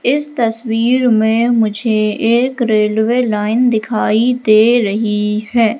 इस तस्वीर में मुझे एक रेलवे लाइन दिखाई दे रही हैं।